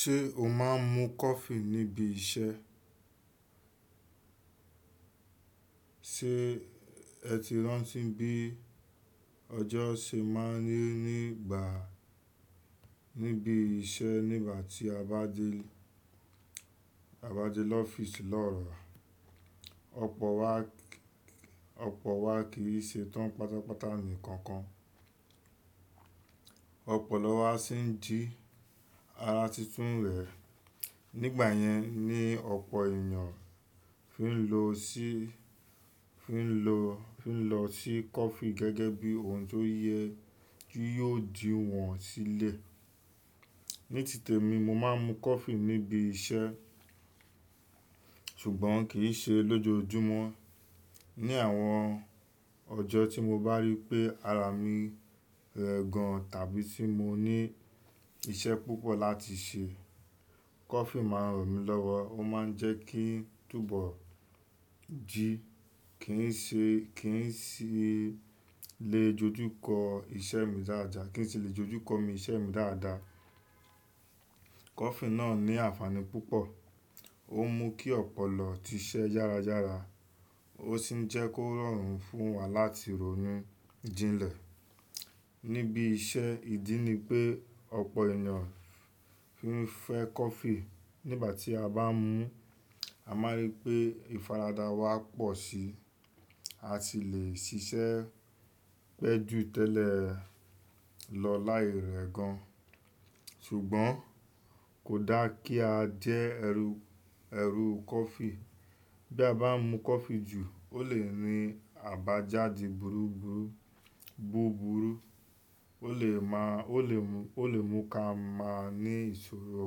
Ṣé o máa ń mu coffee níbi iṣẹ́? Sé ẹ ti rántí bí ọjọ́ ṣe máa ń rí nígbà, níbi iṣẹ́ nígbà tí a bá dé, a bá dé lọ́fíìsì lọ́la. Ọ̀pọ̀ wa, ọ̀pọ̀ wa kì í ṣe tán pátápátá nìkan kan. Ọ̀pọ̀lọ́ wa sì ń jí ara titun wẹ. Nígbà yẹn ni ọ̀pọ̀ ènìyàn fí ń lo sí, fí ń lo, fí ń lọ sí coffee gẹ́gẹ́ bí ohun tó yẹ kí yóò jí wọn sílẹ̀. Ní tìtẹ̀ mi, mo máa ń mu coffee níbi iṣẹ́, ṣùgbọ́n kì í ṣe lójoojúmọ́. Ni àwọn ọjọ́ tí mo bá rí pé ara mi rẹ gan tàbí tí mo ní iṣẹ́ púpọ̀ láti ṣe, coffee máa ń ràn mí lọ́wọ́. Ó máa ń jẹ́ kí n túbọ̀ jí, kí n ṣe, kí n sì lè dojú kọ iṣẹ́ mi dáadáa, kí n sì lè dojú kọ mi iṣẹ́ mi dáadáa. Coffee náà ní ànfàní púpọ̀. Ó mú kí ọ̀pọ̀lọ siṣẹ́ yára yára, ó sì ń jẹ́ kó rọrùn fún wa láti ronu jinlẹ̀. Níbi iṣẹ́, ìdí ni pé ọ̀pọ̀ ènìyàn fí ń fẹ́ coffee. Nígbà tí a bá ń mu, a máa rí pé ìfaradà wa pọ̀ síi, a sì le ṣiṣẹ́ pẹ́ jù tẹ́lẹ̀ lọ láì rẹ gan. Ṣùgbọ́n kò dá kí a jẹ ẹrú, ẹrú coffee. Bí a bá ń mu coffee jù, ó lè ní àbájáde burúburú, búburú, ó lè má, ó lè mú, ó lè mú kí a máa ní ìṣòro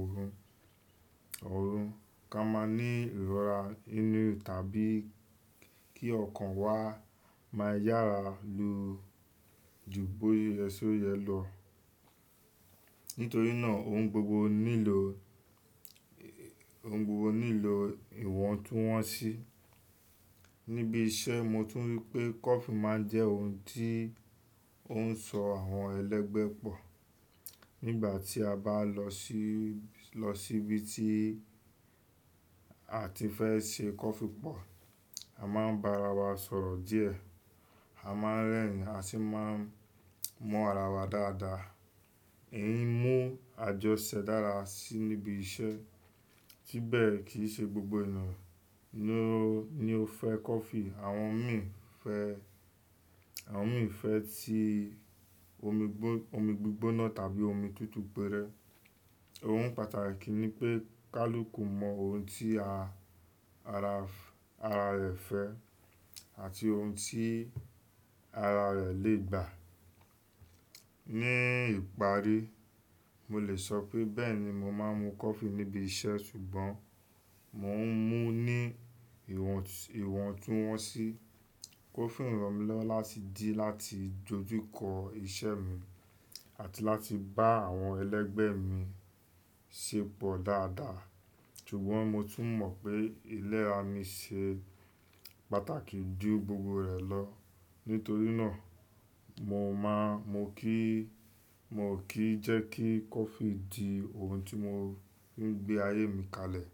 oorun, oorun, kí a máa ní ìrora inú tàbí kí ọkàn wa máa yára lo ju bóyé ẹ síyẹ lọ. Nítorí náà, ohun gbogbo nílò, ohun gbogbo nílò ìwọ̀ntúnwọ̀nsí. Níbi iṣẹ́, mo tún rí pé coffee máa ń jẹ́ ohun tí ó ń sọ àwọn ẹlẹ́gbẹ́ pọ̀. Nígbà tí a bá lọ sí, lọ síbi tí a ti fẹ́ ṣe coffee pọ̀, a máa ń bá ara wa sọ̀rọ̀ díẹ̀. A máa ń rẹ́rìn-ín, a sì máa ń mọ́ ara wa dáadáa. Ẹ̀yin mú àjọṣẹ́ dára síi níbi iṣẹ́. Síbẹ̀ kì í ṣe gbogbo ènìyàn ni ó, ni ó fẹ́ coffee. Àwọn mìíràn fẹ́, àwọn mìíràn fẹ́ ti omi gbígbó, omi gbígbóná tàbí omi tútù gbẹrẹ. Ohun pàtàkì ni pé kaluku mọ ohun tí ara, ara rẹ̀ fẹ́ àti ohun tí ara rẹ̀ lè gbà. Ní ìparí, mo lè sọ pé bẹ́ẹ̀ ni mo máa ń mu coffee níbi iṣẹ́ ṣùgbọ́n mò ń mú ní ìwọ̀ntú, ìwọ̀ntúnwọ̀nsí. Coffee ń ràn mí lọ́wọ́ láti di láti dojú kọ iṣẹ́ mi àti láti bá àwọn ẹlẹ́gbẹ́ mi ṣépọ̀ dáadáa. Ṣùgbọ́n mo tún mọ̀ pé ilé ara mi ṣe pàtàkì jù gbogbo rẹ̀ lọ. Nítorí náà, mo máa, mo kì í, mo kò kí jẹ́ kí coffee di ohun tí mo fi ń gbé ayé mi kalẹ̀.